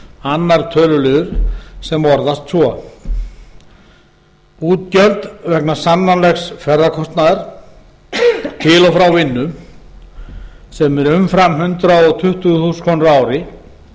annar töluliður sem orðast svo útgjöld vegna sannanlegs ferðakostnaðar til og frá vinnu sem er umfram hundrað tuttugu þúsund krónur á ári en þó